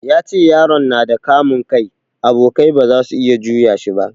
Ya ce yaron nada kamun kai, abokai ba zasu iya juya shi ba